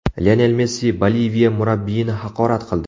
Lionel Messi Boliviya murabbiyini haqorat qildi.